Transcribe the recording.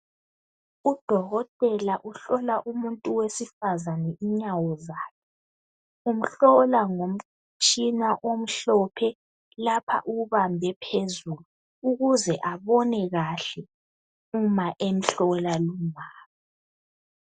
Udokotela uhlola umuntu wesifazane inyawo zakhe umhlola ngomtshina omhlophe lapha uwubambe phezulu ukuze abone kahle uma emhlola lumama